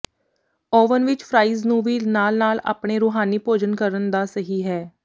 oven ਵਿਚ fries ਨੂੰ ਵੀ ਨਾਲ ਨਾਲ ਆਪਣੇ ਰੂਹਾਨੀ ਭੋਜਨ ਕਰਨ ਦਾ ਸਹੀ ਹੈ